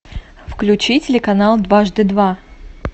включи телеканал дважды два